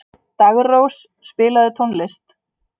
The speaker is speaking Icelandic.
Daggrós, spilaðu tónlist.